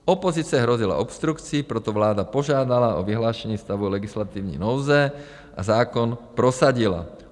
Opozice hrozila obstrukcí, proto vláda požádala o vyhlášení stavu legislativní nouze a zákon prosadila.